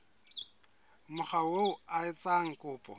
mokga oo a etsang kopo